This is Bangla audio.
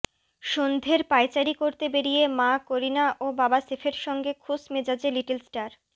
সন্ধের পায়চারি করতে বেরিয়ে মা করিনা ও বাবা সেফের সঙ্গে খোশ মেজাজে লিটলস্টার